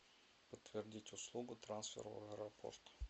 подтвердить услугу трансфера в аэропорт